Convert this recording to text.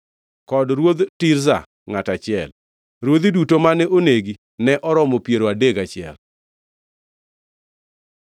kod Ruodh Tirza, ngʼato achiel. Ruodhi duto mane onegi ne oromo piero adek gachiel.